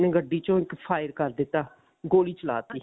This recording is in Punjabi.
ਗੱਡੀ ਚੋਂ ਇੱਕ fire ਕਰ ਦਿੱਤਾ ਗੋਲੀ ਚਲਾ ਤੀ